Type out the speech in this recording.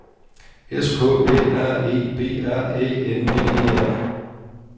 S K Æ R E B R Æ N D E R